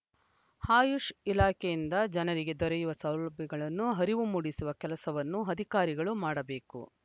ಆಯುಷ್‌ ಇಲಾಖೆಯಿಂದ ಜನರಿಗೆ ದೊರೆಯುವ ಸೌಲಭ್ಯಗಳನ್ನು ಅರಿವು ಮೂಡಿಸುವ ಕೆಲಸವನ್ನು ಅಧಿಕಾರಿಗಳು ಮಾಡಬೇಕು